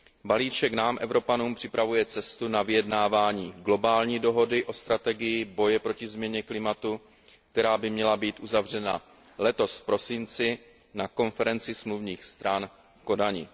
Balíček nám, Evropanům, připravuje cestu na vyjednávání globální dohody o strategii boje proti změně klimatu, která by měla být uzavřena letos v prosinci na konferenci smluvních stran v Kodani.